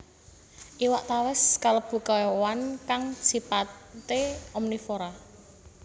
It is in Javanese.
Iwak tawès kalebu kèwan kang sipaté omnivora